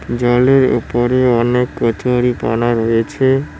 জলের ওপরে অনেক কচুরিপানা রয়েছে।